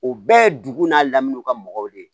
O bɛɛ ye dugu n'a lamini o ka mɔgɔw de ye